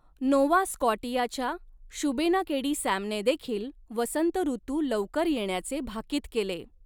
Nova स्कॉटियाच्या शुबेनाकेडी सॅमने देखील वसंतऋतू लवकर येण्याचे भाकीत केले.